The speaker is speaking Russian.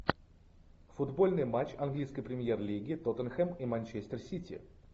футбольный матч английской премьер лиги тоттенхэм и манчестер сити